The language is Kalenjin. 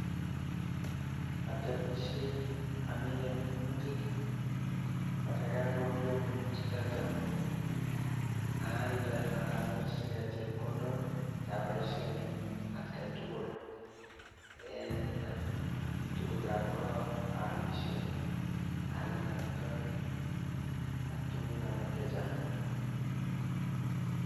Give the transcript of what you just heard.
Atemishei, amine minutik. Borei kakorurio minutichotok, aalde ak anyorjigei chepkondok che aboishen en atgai tugul, en tugukab ko, aalishen aale amitwogik ak tuguk alak chechang.